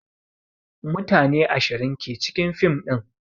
Mutane ashirin ke cikin fim din